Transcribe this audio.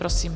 Prosím.